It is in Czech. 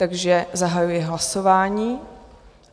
Takže zahajuji hlasování.